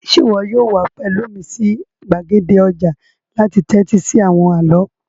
Sé wo yóò wa pẹ̀lu mí si gbàgede ojà láti tẹ́tí si àwon àló?